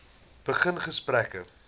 begin gesprekke